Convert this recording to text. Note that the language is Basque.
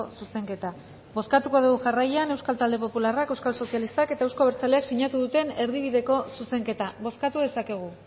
zuzenketa bozkatuko dugu jarraian euskal talde popularrak euskal sozialistak eta euzko abertzaleak sinatu duten erdibideko zuzenketa bozkatu dezakegu